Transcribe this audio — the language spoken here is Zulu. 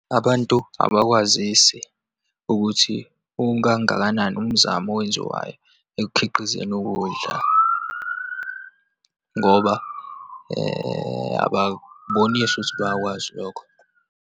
Abantu abakwazisi ukuthi ukangakanani umzamo owenziwayo ekukhiqizeni ukudla, ngoba ababonisi ukuthi bayakwazi lokho.